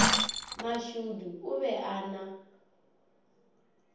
mashudu o be a na